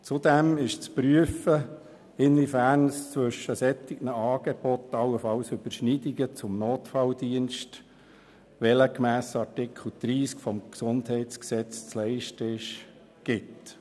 Zudem ist zu prüfen, inwiefern es zwischen solchen Angeboten allenfalls Überschneidungen zum Notfalldienst gibt, der gemäss Artikel 30 des Gesundheitsgesetzes (GesG) zu leisten ist.